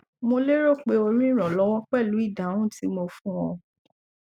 mo lérò pé o rí ìrànlọwọ pẹlú ìdáhùn tí mo fún ọ